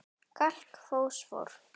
Kalk Fosfór